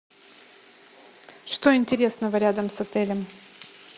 что интересного рядом с отелем